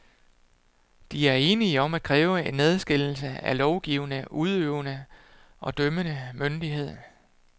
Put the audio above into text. De er enige om at kræve en adskillelse af lovgivende, udøvende og dømmende myndighed.